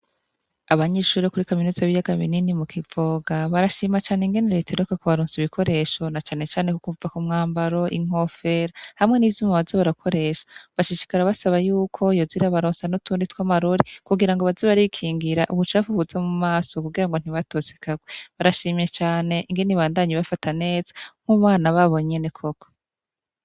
Abanyeshuri bo kuri kaminuza b'iyagaminini mu Kivoga barashima cane ingene reta iheruka kubaronsa ibikoresho na cane Cane kukumva ku mwambaro inkofera hamwe n' ivyuma barakoresha bashishikara basaba y'uko yozira baronsa nu tundi twa marori kugira ngo baze barikingira ubucav buza mu maso kugira ngo ntibatosekagwe barashimye cyane ingeni bandanyi bafata netsa nk'ubana babonyene koko.